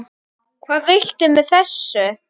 Hvað viltu með þessu?